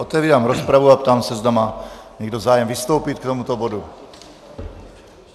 Otevírám rozpravu a ptám se, zda má někdo zájem vystoupit k tomuto bodu.